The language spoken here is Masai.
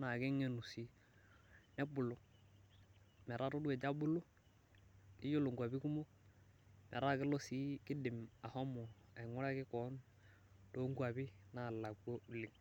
naa kegenu sii nebulu. metaa itodua ejo abulu, keyiolo nkuapi, nkuapi kumok metaa itodua ashomo, ainguraki koon, too nkuapi naalakua oleng'.